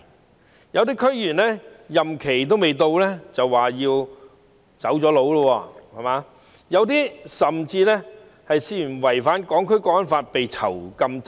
此外，有些區議員任期未滿便已"走佬"，有些甚至因涉嫌違反《香港國安法》而被囚禁。